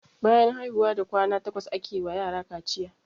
Bayan haihuwa da kwana takwas ake wa yara kaciya.